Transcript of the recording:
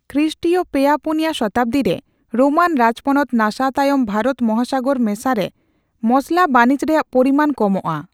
ᱠᱨᱤᱥᱨᱤᱭᱚ ᱯᱮᱭᱟᱼ ᱯᱩᱱᱭᱟ ᱥᱚᱛᱟᱵᱫᱤ ᱨᱮ ᱨᱳᱢᱟᱱ ᱨᱟᱡᱽᱯᱚᱱᱚᱛ ᱱᱟᱥᱟᱣ ᱛᱟᱭᱚᱢ ᱵᱷᱟᱨᱚᱛ ᱢᱟᱦᱟᱥᱟᱜᱚᱨ ᱢᱮᱥᱟ ᱨᱮ ᱢᱚᱥᱞᱟ ᱵᱟᱱᱤᱡᱚ ᱨᱮᱭᱟᱜ ᱯᱚᱨᱤᱢᱟᱱ ᱠᱚᱢᱚᱜ ᱟ ᱾